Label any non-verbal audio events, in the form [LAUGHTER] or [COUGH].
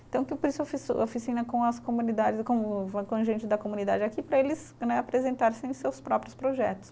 Então, [UNINTELLIGIBLE] oficina com as comunidades com o, [UNINTELLIGIBLE] com gente da comunidade aqui para eles né apresentarem sim seus próprios projetos.